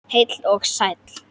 Heill og sæll!